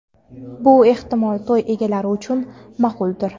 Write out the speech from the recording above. Bu, ehtimol to‘y egalari uchun ma’quldir.